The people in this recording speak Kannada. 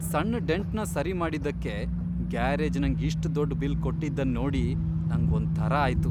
ಸಣ್ ಡೆಂಟ್ನ ಸರಿ ಮಾಡಿದ್ದಕ್ಕೆ ಗ್ಯಾರೇಜ್ ನಂಗ್ ಇಷ್ಟ್ ದೊಡ್ ಬಿಲ್ ಕೊಟ್ಟಿದ್ದನ್ ನೋಡಿ ನಂಗ್ ಒಂದ್ ತರಾ ಆಯ್ತು.